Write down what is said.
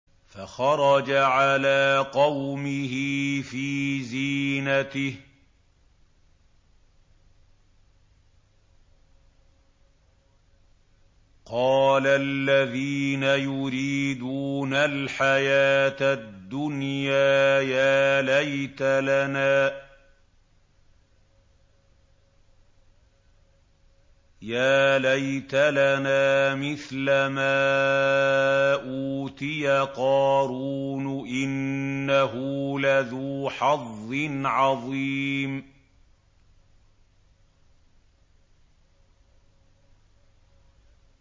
فَخَرَجَ عَلَىٰ قَوْمِهِ فِي زِينَتِهِ ۖ قَالَ الَّذِينَ يُرِيدُونَ الْحَيَاةَ الدُّنْيَا يَا لَيْتَ لَنَا مِثْلَ مَا أُوتِيَ قَارُونُ إِنَّهُ لَذُو حَظٍّ عَظِيمٍ